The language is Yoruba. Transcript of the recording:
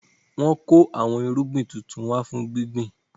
Wọn kò àwọn irúgbìn tuntun wá fún gbíngbin